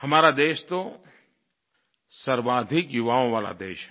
हमारा देश तो सर्वाधिक युवाओं वाला देश है